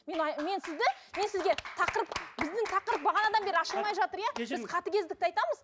мен мен сізді мен сізге тақырып біздің тақырып бағанадан бері ашылмай жатыр иә біз қатыгездікті айтамыз